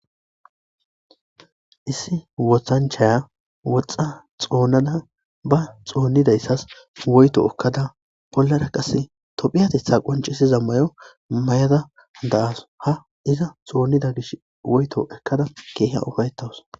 issi wothanchaya woxxa xoonada ba xoonnidayssas woyto ekkada bollara qase tophiyatetha qoncisiza mayo mayada da'as ha iza xoonnida gish woyto ekkada keeha ufayettawus